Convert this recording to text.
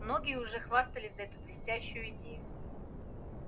многие уже хвастались за эту блестящую идею